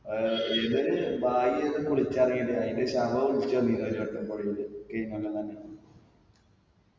ആഹ് ഇത് അയിന്റെ ശവം ഒലിച്ച് വന്നിന് ഒരു വട്ടം പൊഴയില് ഈ മലമന്ന്